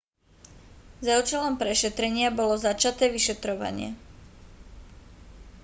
za účelom prešetrenia bolo začaté vyšetrovanie